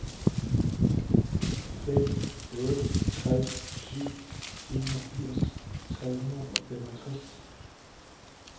fem otte tre syv enogfirs tre hundrede og femogtres